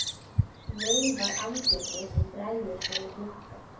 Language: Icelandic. Veifar andliti sem bregður fyrir í glugga.